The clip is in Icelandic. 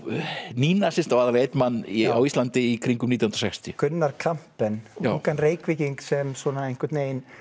nýnasista og aðallega einn mann á Íslandi í kringum nítján hundruð og sextíu Gunnar Kampen ungan sem einhvern veginn